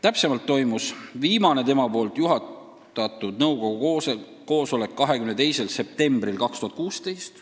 Täpsemalt toimus viimane tema juhatatud nõukogu koosolek 22. septembril 2016.